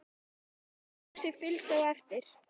Dóri og Fúsi fylgdu á eftir.